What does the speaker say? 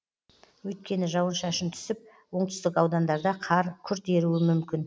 өйткені жауын шашын түсіп оңтүстік аудандарда қар күрт еруі мүмкін